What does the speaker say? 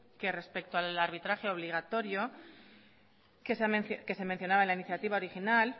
que respecto al arbitraje obligatorio que se mencionaba en la iniciativa inicial